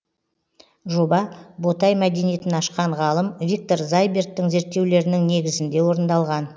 жоба ботай мәдениетін ашқан ғалым виктор зайберттің зерттеулерінің негізінде орындалған